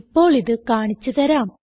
ഇപ്പോൾ ഇത് കാണിച്ച് തരാം